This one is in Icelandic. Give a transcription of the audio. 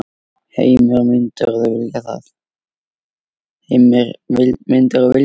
Heimir: Myndirðu vilja það?